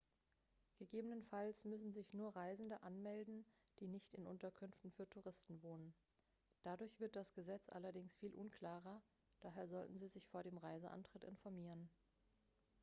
gegebenenfalls müssen sich nur reisende anmelden die nicht in unterkünften für touristen wohnen dadurch wird das gesetz allerdings viel unklarer daher sollten sie sich vor dem reiseantritt informieren